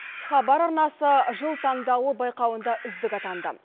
хабар арнасы жыл таңдауы байқауында үздік атанды